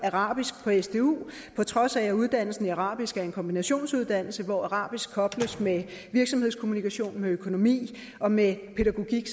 arabisk på trods af at uddannelsen i arabisk er en kombinationsuddannelse hvor arabisk kobles med virksomhedskommunikation med økonomi og med pædagogik